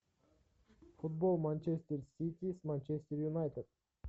футбол манчестер сити с манчестер юнайтед